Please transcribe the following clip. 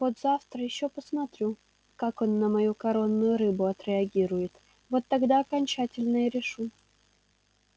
вот завтра ещё посмотрю как он на мою коронную рыбу отреагирует вот тогда окончательно и решу